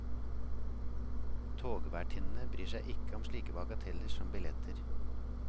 Togvertinnene bryr seg ikke om slike bagateller som billetter.